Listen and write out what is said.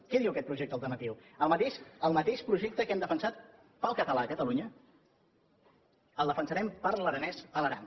què diu aquest projecte alternatiu el mateix projecte que hem defensat per al català a catalunya el defensarem per a l’aranès a l’aran